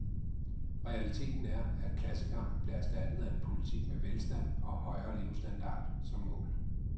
Realiteten er, at klassekampen blev erstattet af en politik med velstand og højere levestandard som mål.